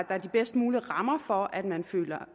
er de bedst mulige rammer for at man føler